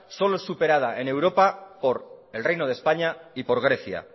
solo es superada en europa por el reino de españa y por grecia